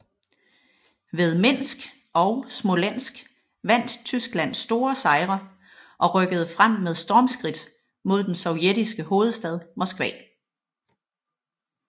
Ved Minsk og Smolensk vandt Tyskland store sejre og rykkede frem med stormskridt mod den sovjetiske hovedstad Moskva